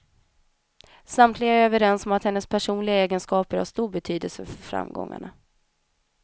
Samtliga är överens om att hennes personliga egenskaper har stor betydelse för framgångarna.